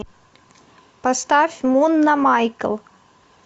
поставь мунна майкл